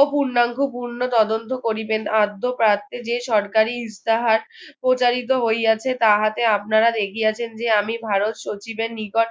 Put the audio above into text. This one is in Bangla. ও পূর্ণাঙ্গ পূর্ণ তদন্ত করিবেন আদ্য প্রার্থী যে সরকারি ইস্তাহার প্রচারিত হইয়াছে তাহাতে আপনারা দেখিয়েছেন যে আমি ভারত সচিবের নিকট